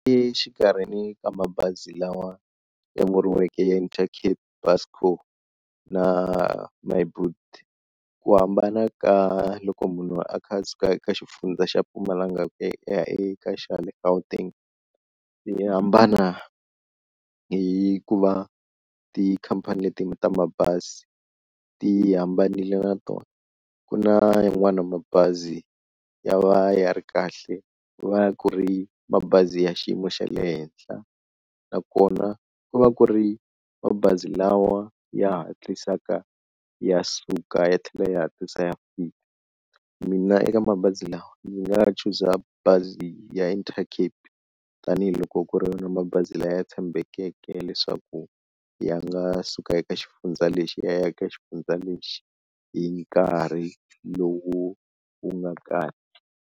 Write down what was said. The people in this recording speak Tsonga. Exikarhini ka mabazi lawa ya vuriweke Intercape na Myboet ku hambana ka loko munhu a kha a suka eka xifundza xa Mpumalanga ku ya eka xa le Gauteng, yi hambana hi ku va tikhampani leti ta mabazi ti hambanile na tona ku na yin'wana ya mabazi ya va ya ri kahle ku va ku ri mabazi ya xiyimo xa le henhla, nakona ku va ku ri mabazi lawa ya hatlisaka ya suka ya tlhela ya hatlisa ya fika, mina eka mabazi lawa ndzi nga chuza bazi ya Intercape tanihiloko ku ri yona mabazi laya tshembekeke leswaku ya nga suka eka xifundza lexi ya a ya eka xifundza lexi hi nkarhi lowu wu nga kahle.